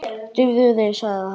Drífðu þig, sagði hann.